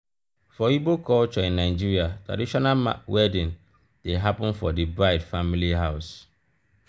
for igbo culture in nigeria traditional wedding de happen for di bride family house